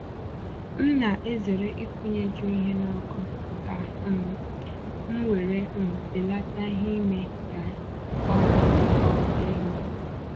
M na-ezere ịkwụnyeju ihe n'ọkụ, ka um m were um belate ìhè ime ka ọkụ ka ọkụ igba